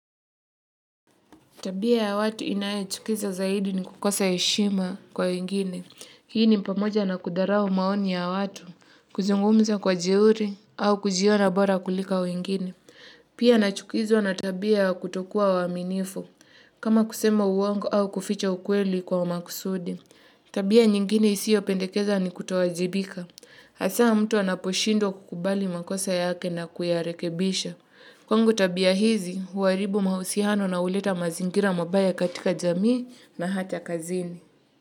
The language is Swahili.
Tabia ya watu inayochukiza zaidi ni kukosa heshima kwa wengine. Hii ni pamoja na kudharau maoni ya watu, kuzungumza kwa jeuri au kujiona bora kulika wengine. Pia nachukizwa na tabia ya kutokuwa waaminifu, kama kusema uongo au kuficha ukweli kwa makusudi. Tabia nyingine isiopendekeza ni kutowajibika. Hasaa mtu anaposhindwa kukubali makosa yake na kuyarekebisha. Kwangu tabia hizi, huharibu mahusiano na huleta mazingira mabaya katika jamii na hata kazini.